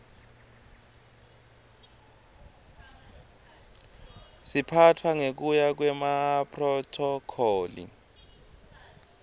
siphatfwa ngekuya kwemaphrothokholi